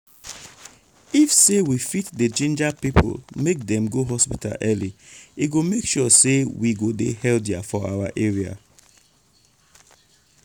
if say we fit dey ginger people make dem go hospital early e go make sure say we go dey healthier for our area.